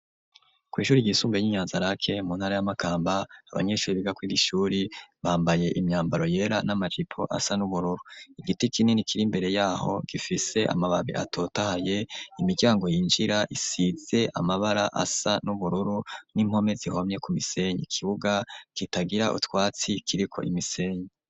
Ku ishuri ryisunbuye ny'inyanzarake mu ntara y'amakamba abanyeshuri bigakwir ishuri bambaye imyambaro yera n'amajipo asa n'ubururu igiti kinini kiri mbere yaho gifise amababi atotahaye imiryango yinjira isitse amabara asa n'ubururu n'impome zihomye ku misenyi kibuga kitagira utwatsi kiriko imisenyi.